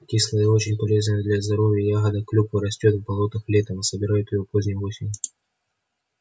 кислая и очень полезная для здоровья ягода клюква растёт в болотах летом а собирают её поздней осенью